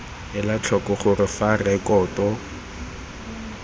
ela tlhoko gore fa rekoto